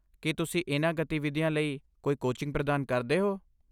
ਕੀ ਤੁਸੀਂ ਇਹਨਾਂ ਗਤੀਵਿਧੀਆਂ ਲਈ ਕੋਈ ਕੋਚਿੰਗ ਪ੍ਰਦਾਨ ਕਰਦੇ ਹੋ?